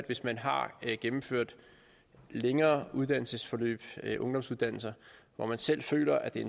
hvis man har gennemført længere uddannelsesforløb ungdomsuddannelser hvor man selv føler at det er